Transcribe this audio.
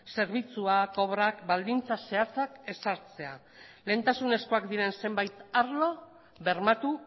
zerbitzuak obrak baldintza zehatzak ezartzea lehentasunezkoak diren zenbait arlo bermatu